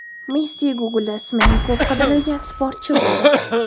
Messi Google’da ismi eng ko‘p qidirilgan sportchi bo‘ldi.